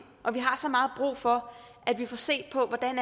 og vi har så meget brug for at vi får set på hvordan